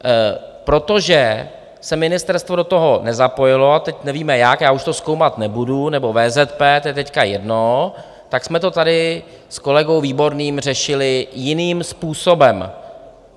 Protože se ministerstvo do toho nezapojilo, a teď nevíme jak, já už to zkoumat nebudu, nebo VZP, to je teď jedno, tak jsme to tady s kolegou Výborným řešili jiným způsobem.